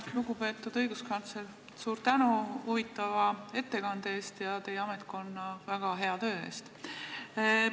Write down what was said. Lugupeetud õiguskantsler, suur tänu huvitava ettekande eest ja teie ametkonna väga hea töö eest!